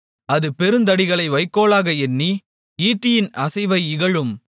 அது பெருந்தடிகளை வைக்கோல்களாக எண்ணி ஈட்டியின் அசைவை இகழும்